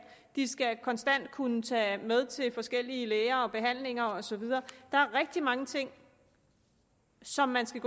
de skal konstant kunne tage med til forskellige læger og behandlinger og så videre der er rigtig mange ting som man skal